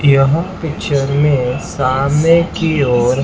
यहां किचेन में सामने की ओर--